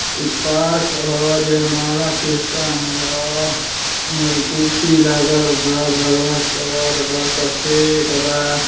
यह पार्क ह। जयमाला सिस्टम ह कुर्सी लागल बा। भगवा कलर बा। सफेद बा।